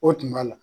O tun b'a la